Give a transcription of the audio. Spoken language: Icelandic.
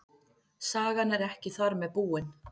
Sagan er ekki þar með búin.